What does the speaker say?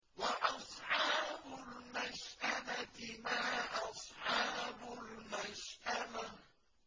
وَأَصْحَابُ الْمَشْأَمَةِ مَا أَصْحَابُ الْمَشْأَمَةِ